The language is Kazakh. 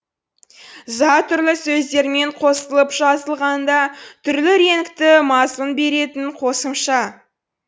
за түрлі сөздермен қосылып жазылғанда түрлі реңкті мазмұн беретін қосымша